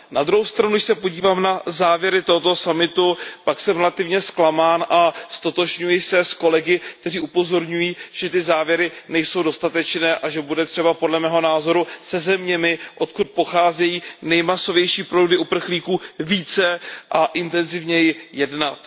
Na druhou stranu, když se podívám na závěry tohoto summitu, pak jsem relativně zklamán a ztotožňuji se s kolegy, kteří upozorňují, že ty závěry nejsou dostatečné a že bude třeba podle mého názoru se zeměmi, odkud pocházejí nejmasovější proudy uprchlíků, více a intenzívněji jednat.